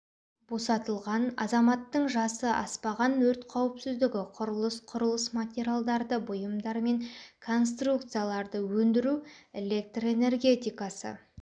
босатылған азаматтың жасы аспаған өрт қауіпсіздігі құрылыс құрылыс материалдарды бұйымдар мен конструкцияларды өндіру электр энергетикасы